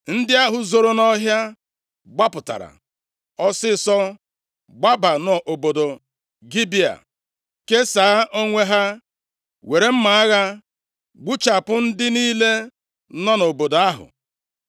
Ndị ahụ zoro nʼọhịa gbapụtara ọsịịsọ gbaba nʼobodo Gibea, kesaa onwe ha, were mma agha gbuchapụ ndị niile nọ nʼobodo ahụ.